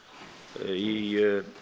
í